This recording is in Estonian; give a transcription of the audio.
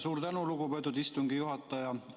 Suur tänu, lugupeetud istungi juhataja!